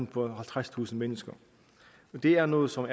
på halvtredstusind mennesker det er noget som